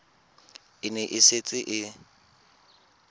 e ne e setse e